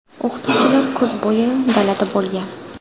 O‘qituvchilar kuz bo‘yi dalada bo‘lgan.